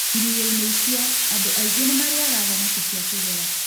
Iria-inĩ icio, andũ aingĩ nĩ marĩĩaga thamaki cia kĩgera.